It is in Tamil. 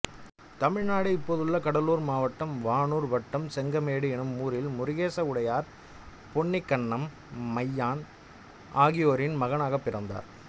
தமிழ்நாடு இப்போதுள்ள கடலூர் மாவட்டம் வானூர் வட்டம் செங்கமேடு என்னும் ஊரில் முருகேச உடையார் பொன்னிக்கண்ணம்மையான் ஆகியோரின் மகனாகப் பிறந்தார்